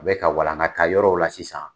U bɛ ka walankata yɔrɔw la sisan!